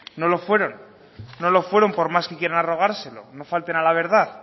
no lo fueron no lo fueron por más que quieran arrogárselo no falten a la verdad